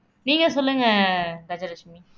நீங்க சொல்லுங்க கஜலட்சுமி